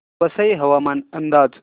वसई हवामान अंदाज